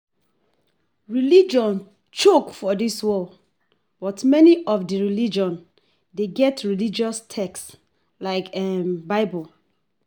Religions choke for di world, but many of di religion de get religous text like bible